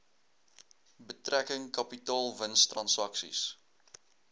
betrekking kapitaalwins transaksies